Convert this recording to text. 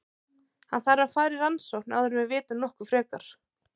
Hann þarf að fara í rannsókn áður en við vitum nokkuð frekar.